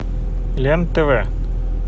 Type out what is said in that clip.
лен тв